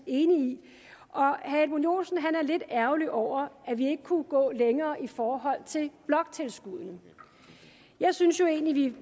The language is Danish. enig i herre edmund joensen var lidt ærgerlig over at vi ikke kunne gå længere i forhold til bloktilskuddene jeg synes jo egentlig